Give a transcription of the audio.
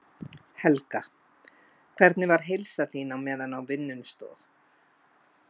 Helga: Hvernig var heilsan þín á meðan á vinnunni stóð?